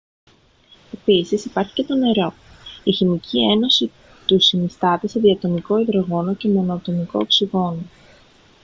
επίσης υπάρχει και το νερό η χημική ένωση του συνίσταται σε διατομικό υδρογόνο και μονοατομικό οξυγόνο